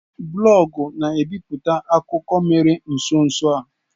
Blọọgụ na bipụta akụkọ mere nso nso a.